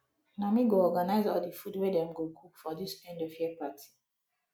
na me go organize all the food wey dem go cook for this end of the year party